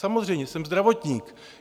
Samozřejmě, jsem zdravotník.